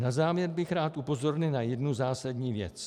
Na závěr bych rád upozornil na jednu zásadní věc.